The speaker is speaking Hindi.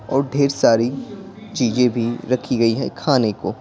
और ढेर सारी चीजें भी रखी गई हैं खाने को--